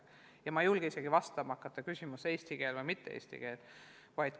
Ma ei julge isegi hakata vastama küsimusele, kas nad õpetaks eesti keeles või mitte.